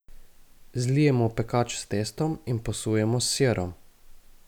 Zlijemo v pekač s testom in posujemo s sirom.